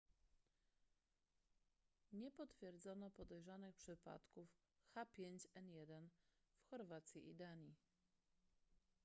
nie potwierdzono podejrzewanych przypadków h5n1 w chorwacji i danii